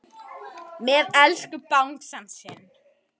Elsku Bangsi minn.